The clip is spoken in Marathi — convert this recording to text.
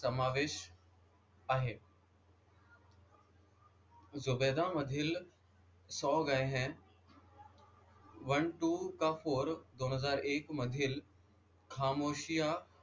समावेश आहे. झुबैदा मधील सो गए हैं वन टू का फोर दोन हजार एक मधील खामोशियां,